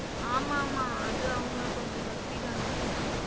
ஆமா ஆமா அது அவங்க கொஞ்சம் பக்திதான்.